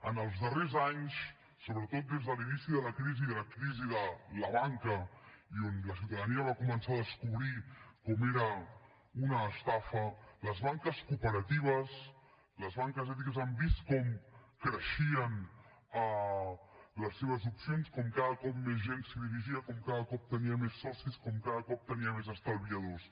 en els darrers anys sobretot des de l’inici de la crisi de la crisi de la banca i on la ciutadania va començar a descobrir com era una estafa les banques cooperatives les banques ètiques han vist com creixien les seves opcions com cada cop més gent s’hi dirigia com cada cop tenien més socis com cada cop tenien més estalviadors